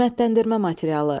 Qiymətləndirmə materialı.